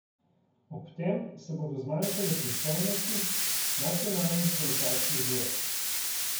Ob tem se bodo zmanjšale pristojnosti nacionalnih kolesarskih zvez.